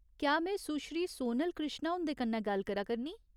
क्या में सुश्री सोनल कृष्णा हुंदे कन्नै गल्ल करा करनीं ?